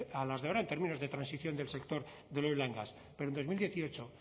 a las de ahora en términos de transición del sector del oil gas pero en dos mil dieciocho